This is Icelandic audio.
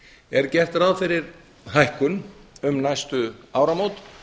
er gert ráð fyrir hækkun um næstu áramót